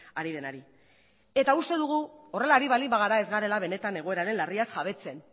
ari denari eta uste dugu horrela ari baldin bagara ez garela benetan egoeraren larriaz jabetzen